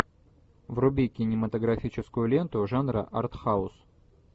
вруби кинематографическую ленту жанра артхаус